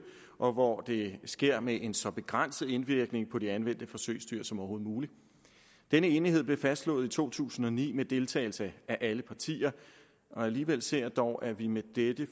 og hvor det sker med en så begrænset indvirkning på de anvendte forsøgsdyr som overhovedet muligt denne enighed blev fastslået i to tusind og ni med deltagelse af alle partier og alligevel ser jeg dog at vi med dette